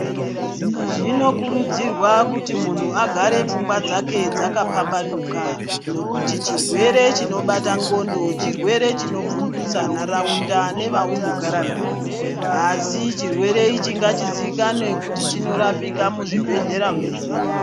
Zvinokurudzirwa kuti munhu agare pfungwa dzake dzaka pambanuka nekuti chirwere chinobata ndxondo chirwere chino bvundutsa naraunda ne vauno gara navo asi chirwere ichi ngachi zivikanwe kuti chino rapirwa mu zvibhedhlera medu.